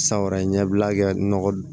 San wɛrɛ ɲɛbila kɛ nɔgɔ